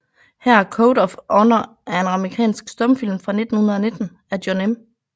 Her Code of Honor er en amerikansk stumfilm fra 1919 af John M